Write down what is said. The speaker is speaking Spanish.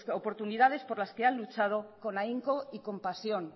oportunidades por las que han luchado con ahínco y con pasión